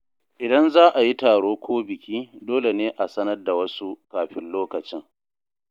Idan za a yi taro ko biki, dole ne a sanar da wasu kafin lokacin.